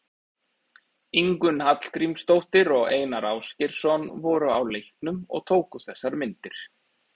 Ingunn Hallgrímsdóttir og Einar Ásgeirsson voru á leiknum og tóku þessar myndir.